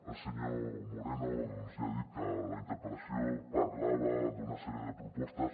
el senyor moreno ja ha dit que la interpel·la·ció parlava d’una sèrie de propostes